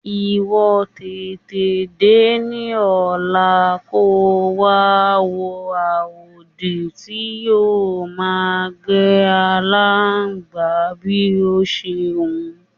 Ìwo̩ tètè dé ní ò̩lá kó wa wo àwòdì tí yóò máa gbé aláǹgbá bí ó bá s̩e wù ú.